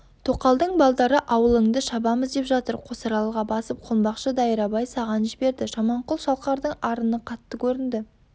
тоқалдың балдары ауылыңды шабамыз деп жатыр қосаралға басып қонбақшы дайрабай саған жіберді жаманқұл шалқардың арыны қатты көрінді